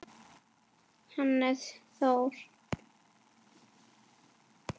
Hannes Þór.